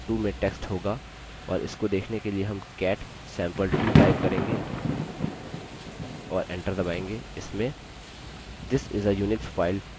अन्य file sample2 में text होगा और इसको देखने के लिए हम cat sample2 type करेंगे और enter दबायेंगे